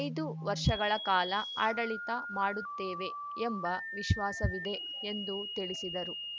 ಐದು ವರ್ಷಗಳ ಕಾಲ ಆಡಳಿತ ಮಾಡುತ್ತೇವೆ ಎಂಬ ವಿಶ್ವಾಸವಿದೆ ಎಂದು ತಿಳಿಸಿದರು